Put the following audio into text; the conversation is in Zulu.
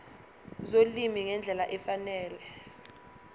zolimi ngendlela efanele